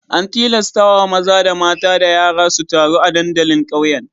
An tilastawa maza da mata da yara su taru a dandalin ƙauyen.